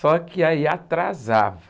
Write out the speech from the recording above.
Só que aí atrasava.